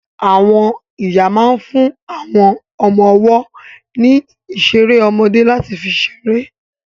Àwọn ìyá máa ń fún àwọn ọmọ ọwọ́ ní ìṣeré ọmọdé láti fi ṣeré.